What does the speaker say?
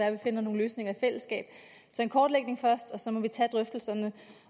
at vi finder nogle løsninger i fællesskab så en kortlægning først og så må vi tage drøftelserne